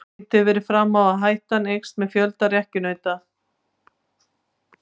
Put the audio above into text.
Sýnt hefur verið fram á að áhættan eykst með fjölda rekkjunauta.